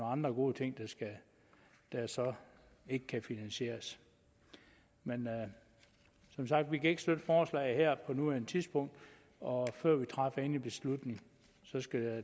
andre gode ting der så ikke kan finansieres men som sagt vi kan ikke støtte forslaget på nuværende tidspunkt og før vi træffer endelig beslutning skal